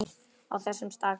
Á þessum stað klykkir